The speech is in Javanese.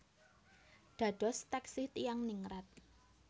Dados taksih tiyang ningrat